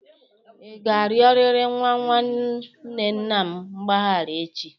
Ị ga-arịọrịrị nwa nwanne nna m mgbaghara echi!